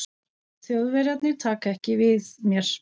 Þjóðverjarnir taka ekki við mér.